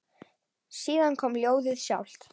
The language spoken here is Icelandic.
Síðan kom ljóðið sjálft: